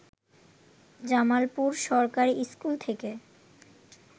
জামালপুর সরকারি স্কুল থেকে